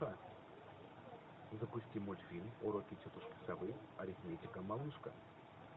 запусти мультфильм уроки тетушки совы арифметика малышка